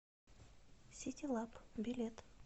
ситилаб билет